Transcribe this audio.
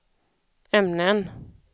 ämnen